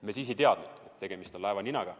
Me siis ei teadnud, et tegemist on laevaninaga.